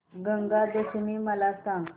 गंगा दशमी मला सांग